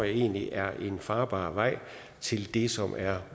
egentlig er en farbar vej til det som er